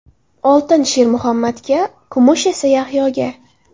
Oltin Shermuhammadga, kumush esa Yahyoga.